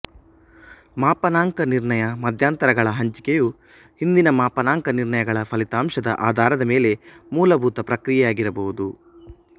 ಮಾಪನಾಂಕ ನಿರ್ಣಯ ಮಧ್ಯಂತರಗಳ ಹಂಚಿಕೆವು ಹಿಂದಿನ ಮಾಪನಾಂಕ ನಿರ್ಣಯಗಳ ಫಲಿತಾಂಶದ ಆಧಾರದ ಮೇಲೆ ಮೂಲಭೂತ ಪ್ರಕ್ರಿಯೆಯಾಗಿರಬಹುದು